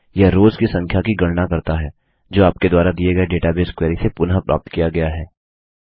यह रोव्स की संख्या की गणना करता है जो आपके द्वारा दिए गए डेटाबेस क्वेरी से पुनः प्राप्त किया गया है